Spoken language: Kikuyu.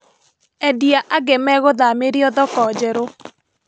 Endia angĩ megũthamĩrio thoko njerũ